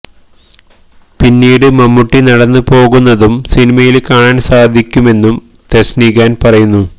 പിന്നീട് മമ്മൂട്ടി നടന്ന് പോകുന്നതും സിനിമയില് കാണാന് സാധിക്കുമെന്നും തെസ്നി ഖാന് പറയുന്നു